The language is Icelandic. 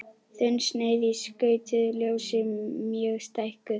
Þunnsneið í skautuðu ljósi mjög stækkuð.